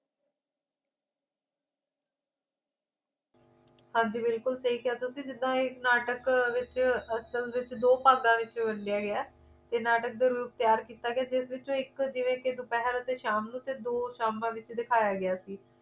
ਹਾਂ ਜੀ ਬਿਲਕੁਲ ਸਹੀ ਕਿਹਾ ਤੁਸੀਂ ਜਿੱਦਣ ਇਹ ਨਾਟਕ ਦੇ ਵਿੱਚ ਅਸਲ ਵਿਚ ਦੋ ਭਾਗਾਂ ਵਿੱਚ ਵੰਡਿਆ ਗਿਆ ਹੈ ਇਹ ਨਾਟਕ ਤਿਆਰ ਕੀਤਾ ਗਿਆ ਜਿਸ ਵਿਚ ਇਕ ਜਿਵੇਂ ਕਿ ਦੁਪਹਿਰ ਅਤੇ ਸ਼ਾਮ ਨੂੰ ਤੇ ਦੋ ਸ਼ਾਮਾਂ ਦੇ ਵਿਚ ਦਿਖਾਇਆ ਗਿਆ ਸੀ